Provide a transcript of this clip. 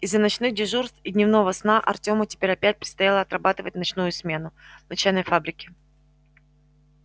из-за ночных дежурств и дневного сна артему теперь опять предстояло отрабатывать в ночную смену на чайной фабрике